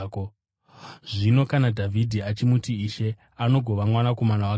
Zvino kana Dhavhidhi achimuti, ‘Ishe’ angagova mwanakomana wake sei?”